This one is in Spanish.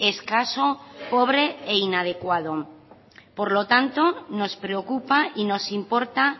escaso pobre e inadecuado por lo tanto nos preocupa y nos importa